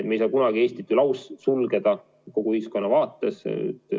Me ei saa kunagi Eestit laussulgeda kogu ühiskonna vaates.